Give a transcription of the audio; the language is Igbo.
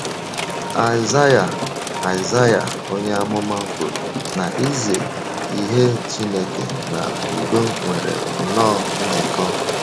Aịzaịa Aịzaịa onye amụma kwuru na izi ihe Chineke na udo nwere nnọọ njikọ.